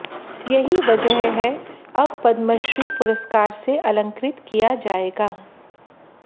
यही वजह है अब पद्मश्री पुरस्कार से अलंकृत किया जाएगा